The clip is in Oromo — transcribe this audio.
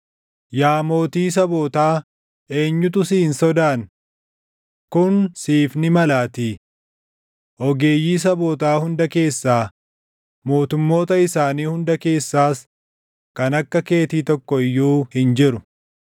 Yaa mootii sabootaa eenyutu si hin sodaanne? Kun siif ni malaatii. Ogeeyyii sabootaa hunda keessaa, mootummoota isaanii hunda keessaas kan akka keetii tokko iyyuu hin jiru.